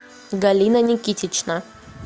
галина никитична